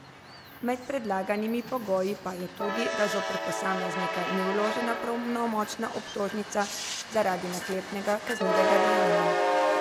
Med predlaganimi pogoji pa je tudi, da zoper posameznika ni vložena pravnomočna obtožnica zaradi naklepnega kaznivega dejanja.